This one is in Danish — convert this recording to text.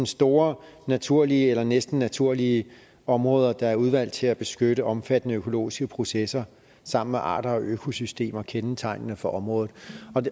store naturlige eller næsten naturlige områder der er udvalgt til at beskytte omfattende økologiske processer sammen med arter og økosystemer kendetegnende for området